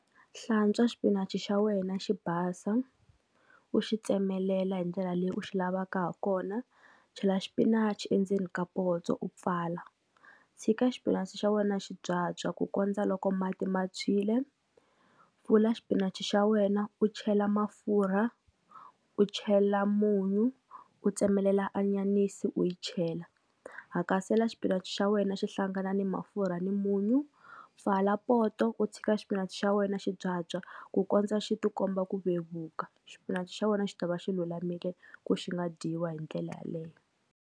Hlantswa xipinachi xa wena xi basa, u xi tsemelela hi ndlela leyi u xi lavaka ha kona, chela xipinachi endzeni ka poto u pfala, tshika xipinachi xa wena xi byabya ku kondza loko mati ma tshwile, pfula xipinachi xa wena u chela mafurha, u chela munyu, u tsemelela anyanisi u yi chela, hakatela xipinachi xa wena xi hlangana ni ma mafurha ni munyu, pfala poto u tshika xipinichi xa wena xi byabya ku kondza xi ti komba ku vevuka, xipinachi xa wena xi ta va xi lulamile ku xi nga dyiwa hi ndlela yaleyo.